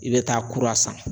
I bɛ taa kura san.